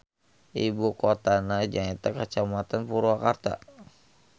Ibukotana nyaeta Kacamatan Purwakarta.